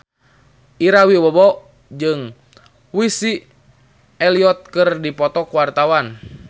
Ira Wibowo jeung Missy Elliott keur dipoto ku wartawan